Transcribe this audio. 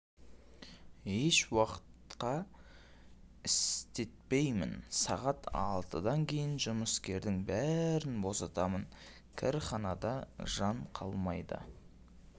ешуақытта істетпеймін сағат алтыдан кейін жұмыскердің бәрін босатамын кірханада жан қалмайды